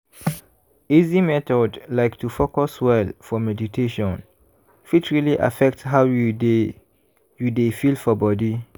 easy method like to focus well for meditation fit really affect how you dey you dey feel for body.